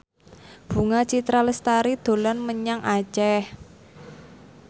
Bunga Citra Lestari dolan menyang Aceh